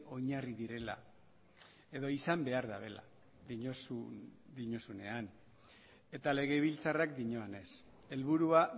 oinarri direla edo izan behar dabela diozunean eta legebiltzarrak dioanez helburua